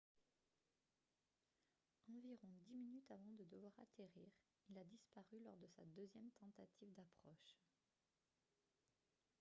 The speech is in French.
environ dix minutes avant de devoir atterrir il a disparu lors de sa deuxième tentative d'approche